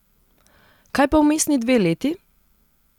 Kaj pa vmesni dve leti?